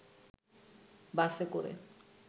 বাসে করে